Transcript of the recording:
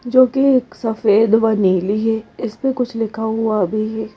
जोकि एक सफेद वनीली है इस पे कुछ लिखा हुआ भी है।